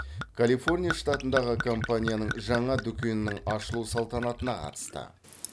калифорния штатындағы компанияның жаңа дүкенінің ашылу салтанатына қатысты